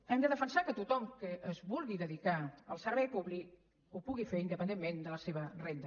hem de defensar que tothom que es vulgui dedicar al servei públic ho pugui fer independentment de la seva renda